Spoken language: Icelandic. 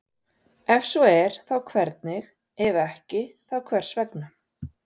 Ef svo er þá hvernig, ef ekki þá hvers vegna?